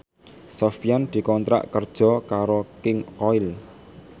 Sofyan dikontrak kerja karo King Koil